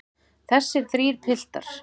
Þessir þrír piltar.